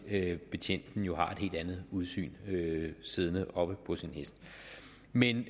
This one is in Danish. betjenten jo har et helt andet udsyn siddende oppe på sin hest men